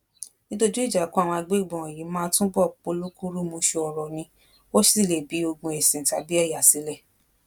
dídójú ìjà kó àwọn agbébọn wọnyí máa túbọ polúkúrúmuṣu ọrọ ni ó sì lè bi ogún ẹsìn àti ẹyà sílẹ